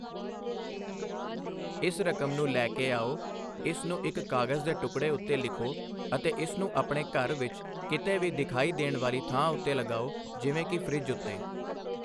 ਇਸ ਰਕਮ ਨੂੰ ਲੈ ਕੇ ਆਓ, ਇਸ ਨੂੰ ਇੱਕ ਕਾਗਜ਼ ਦੇ ਟੁਕੜੇ ਉੱਤੇ ਲਿਖੋ, ਅਤੇ ਇਸ ਨੂੰ ਆਪਣੇ ਘਰ ਵਿੱਚ ਕਿਤੇ ਵੀ ਦਿਖਾਈ ਦੇ ਵਾਲੀ ਥਾਂ ਉੱਤੇ ਲਗਾਉ, ਜਿਵੇਂ ਕਿ ਫਰਿੱਜ ਉਤੇ।